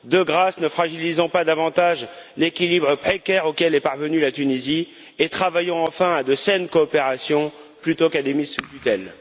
De grâce, ne fragilisons pas davantage l'équilibre précaire auquel est parvenue la Tunisie et travaillons enfin à de saines coopérations plutôt qu'à des mises sous tutelle.